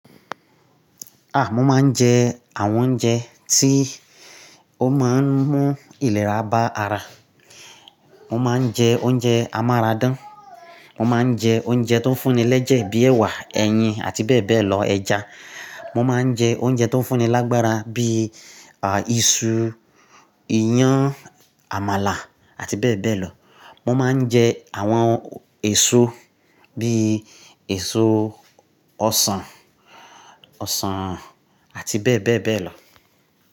Ah! Mo máa ń jẹ àwọn oúnjẹ tí ó máa ń mú ìlera bá ara. Mo máa ń jẹ oúnjẹ amárádán. Mo máa ń jẹ oúnjẹ tó fún ni lẹ́jẹ̀ bíi ẹwà, ẹyin àti bẹ́ẹ̀ bẹ́ẹ̀ lọ, ẹja. Mo máa ń jẹ oúnjẹ tó fún ni lágbára bí i, à, iṣu, iyán, àmàlà àti bẹ́ẹ̀ bẹ́ẹ̀ lọ. Mo máa ń jẹ àwọn èso bíi èso ọsàn, ọsàn àti bẹ́ẹ̀ bẹ́ẹ̀ bẹ́ẹ̀ lọ.